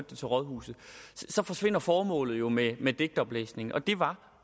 det til rådhuset så forsvinder formålet jo med med digtoplæsningen og det var